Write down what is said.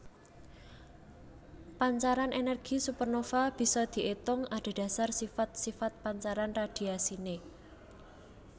Pancaran ènèrgi supernova bisa diétung adhedhasar sifat sifat pancaran radhiasiné